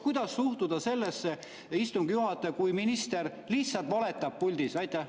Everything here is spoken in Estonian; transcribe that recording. Kuidas suhtuda sellesse, istungi juhataja, kui minister lihtsalt valetab puldis?